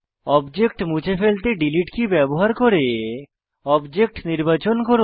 object মুছতে delete key ব্যবহার করে অবজেক্ট নির্বাচন করুন